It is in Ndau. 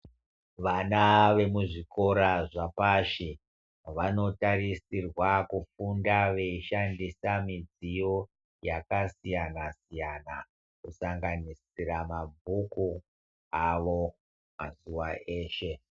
Vana vemuzvikora zvapashi vanotarisirwa kufunda veishandisa midziyo yakasiyana -siyana. Kusanganisira mabhuku avo mazuwa eshe.